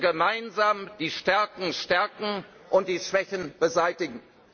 Wir müssen gemeinsam die Stärken stärken und die Schwächen beseitigen.